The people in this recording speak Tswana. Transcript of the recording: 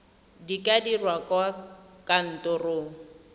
di ka dirwa kwa kantorong